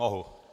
Mohu?